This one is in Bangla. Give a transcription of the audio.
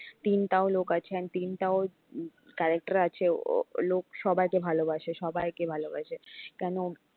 তিনটাও লোক আছে তিনটাও উম character আছে ও লোক সবাইকে ভালোবাসে সবাইকে ভালোবাসে কেন